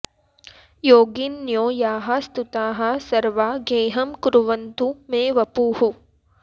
योगिन्यो याः स्तुताः सर्वा गेहं कुर्वन्तु मे वपुः